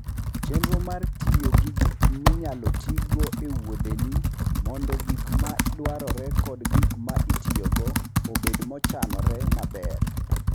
Chenro mar tiyo gi gik minyalo tigo e wuodheni mondo gik ma dwarore kod gik ma itiyogo obed mochanore maber.